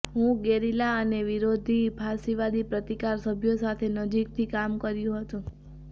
હું ગેરિલા અને વિરોધી ફાશીવાદી પ્રતિકાર સભ્યો સાથે નજીકથી કામ કર્યું હતું